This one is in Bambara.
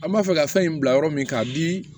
An b'a fɛ ka fɛn in bila yɔrɔ min k'a bi